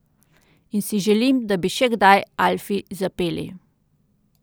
In si želim, da bi še kdaj, Alfi, zapeli.